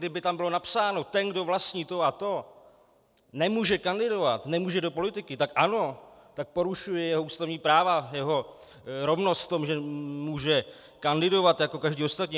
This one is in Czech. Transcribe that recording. Kdyby tam bylo napsáno: ten, kdo vlastní to a to, nemůže kandidovat, nemůže do politiky, tak ano, tak porušuje jeho ústavní práva, jeho rovnost v tom, že může kandidovat jako každý ostatní.